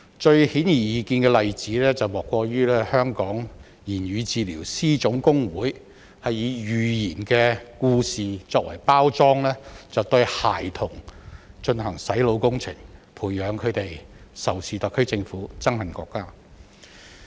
最顯而易見的例子，莫過於香港言語治療師總工會以寓言故事作為包裝，對孩童進行"洗腦"工程，培養他們仇視特區政府、憎恨國家。